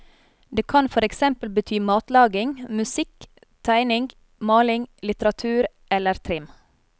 Det kan for eksempel bety matlaging, musikk, tegning, maling, litteratur eller trim.